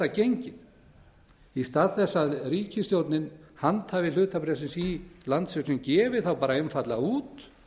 gengið í stað þess að ríkisstjórnin handhafi hlutabréfsins í landsvirkjun gefi þá bara einfaldlega út